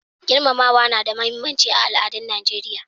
Girmamawa na da muhimmanci a al'adun Nijeriya.